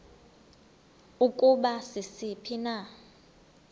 ukuba sisiphi na